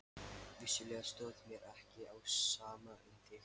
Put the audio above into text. Vissulega stóð mér ekki á sama um þig.